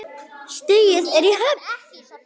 Stigið er í höfn!